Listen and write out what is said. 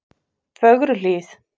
Fögruhlíð